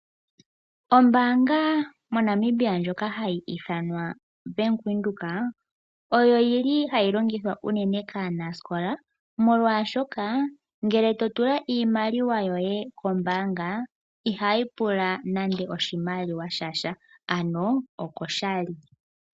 Ombaanga moNamibia ndjoka hayi ithanwa Bank Windhoek oyo yi li hayi longithwa unene kaanaskola molwashoka ngele to tula iimaliwa yoye kombaanga, ihayi pula nando oshimaliwa sha sha, ano okoshali.